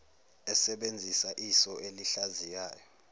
esebenzisa iso elihlaziyayo